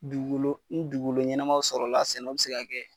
Dugukolo ni dugukolo ɲɛnamaw sɔrɔ la, sɛnɛw be se ka kɛ.